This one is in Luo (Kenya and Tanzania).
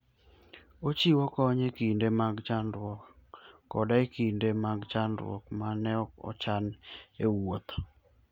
Ochiwo kony e kinde mag chandruok koda e kinde mag chandruok ma ne ok ochan e wuoth.